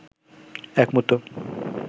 এক মুহূর্ত